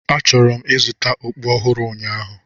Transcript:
Achọrọ m ịzụta okpu ọhụrụ ụnyaahụ.